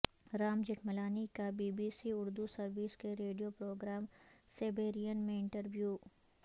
رام جیٹملانی کا B B C Urdu service کے radio programme Sairbeen میں انٹروی و